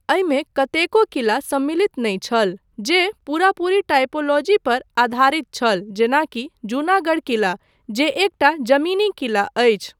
एहिमे कतेको किला सम्मिलित नहि छल जे पूरापूरी टाइपोलॉजी पर आधारित छल जेनाकि जूनागढ़ किला जे एकटा जमीनी किला अछि।